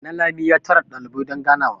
nalami ya tara dalibai don ganawa